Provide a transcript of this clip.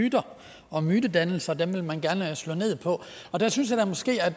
myter og at mytedannelser vil man gerne slå ned på og der synes jeg måske at